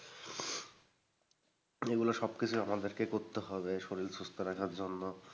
এগুলো সবকিছুই আমাদেরকে করতে হবে শরীর সুস্থ রাখার জন্য।